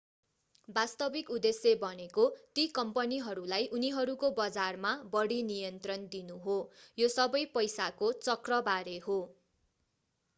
वास्तविक उद्देश्य भनेको ती कम्पनीहरूलाई उनीहरूको बजारमा बढी नियन्त्रण दिनु हो यो सबै पैसाको चक्रबारे हो